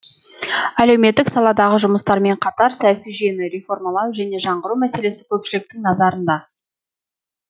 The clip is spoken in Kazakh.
әлеуметтік саладағы жұмыстармен қатар саяси жүйені реформалау және жаңғыру мәселесі көпшіліктің назарында